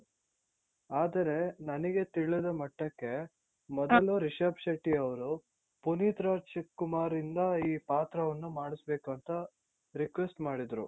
ಆದರೆ ನನಗೆ ತಿಳಿದ ಮಟ್ಟಕ್ಕೆ ಮೊದಲು ರಿಷಬ್ ಶೆಟ್ಟಿಯವರು ಪುನೀತ್ ರಾಜ್ ಕುಮಾರಿಂದ ಈ ಪಾತ್ರವನ್ನು ಮಾಡಿಸ್ಬೇಕು ಅಂತ request ಮಾಡಿದ್ರು.